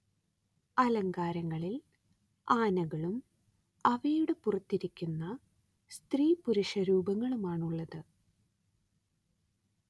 അലങ്കാരങ്ങളിൽ ആനകളും അവയുടെ പുറത്തിരിക്കുന്ന സ്ത്രീപുരുഷ രൂപങ്ങളുമാണുള്ളത്